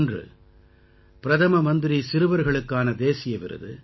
ஒன்று பிரதம மந்திரி சிறுவர்களுக்கான தேசிய விருது